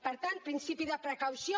per tant principi de precaució